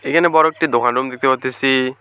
এখানে বড় একটি দোকান রুম দেখতে পাইতেসি।